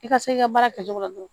I ka se i ka baara kɛcogo la dɔrɔn